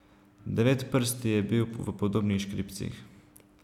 Devetprsti je bil v podobnih škripcih.